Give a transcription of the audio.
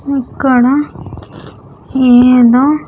ఇక్కడ మీద--